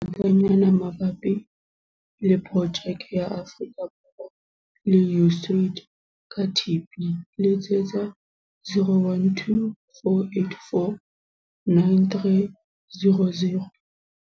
ngatanyana mabapi le Projeke ya Afrika Borwa le USAID ka TB, letsetsa- 012 484 9300.